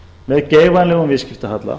með geigvænlegum viðskiptahalla